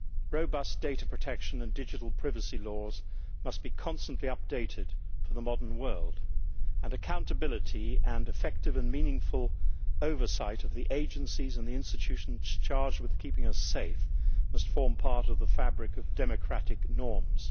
Robust data protection and digital privacy laws must be constantly updated for the modern world, and accountability and effective and meaningful oversight of the agencies and the institutions charged with keeping us safe must form part of the fabric of democratic norms.